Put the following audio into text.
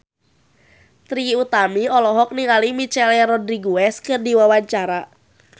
Trie Utami olohok ningali Michelle Rodriguez keur diwawancara